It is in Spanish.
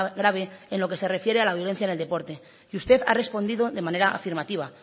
grave en lo que se refiere a la violencia en el deporte y usted ha respondido de manera afirmativa